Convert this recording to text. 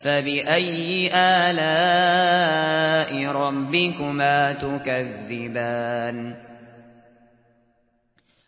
فَبِأَيِّ آلَاءِ رَبِّكُمَا تُكَذِّبَانِ